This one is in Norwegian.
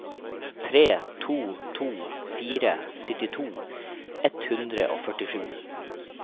tre to to fire syttito ett hundre og førtisju